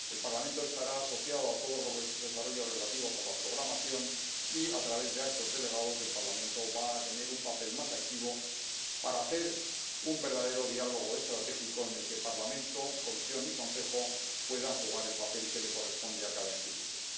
El Parlamento estará asociado a todos los desarrollos relativos a la programación y, a través de actos delegados, va a tener un papel más activo para mantener un verdadero diálogo estratégico en el que Parlamento, Comisión y Consejo puedan jugar el papel que le corresponde a cada institución.